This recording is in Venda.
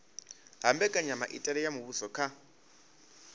ha mbekanyamitele ya muvhuso kha